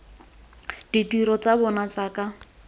ditiro tsa bona tsa ka